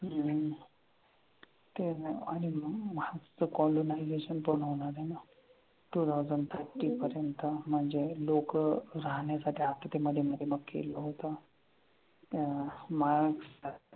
हम्म ते आनि मंग colonization पूर्ण होणार आहे न twothousandthirty पर्यंत म्हनजे लोक राहन्यासाठी केलं होत अं Mars